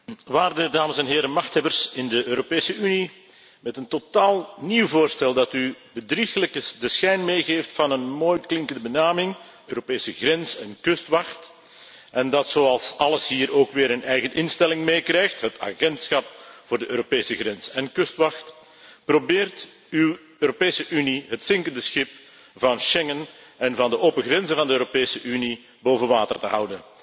Waarde dames en heren machthebbers in de Europese Unie, met een totaal nieuw voorstel dat u de bedrieglijke schijn meegeeft van een mooi klinkende benaming, Europese grens en kustwacht, en dat zoals alles hier ook weer een eigen instelling meekrijgt, het agentschap voor de Europese grens en kustwacht, probeert uw Europese Unie het zinkende schip van Schengen en van de open grenzen van de Europese Unie boven water te houden.